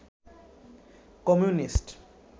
communist